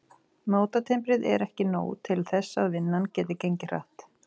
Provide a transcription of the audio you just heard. Mótatimbrið er ekki nóg til þess að vinnan geti gengið hratt.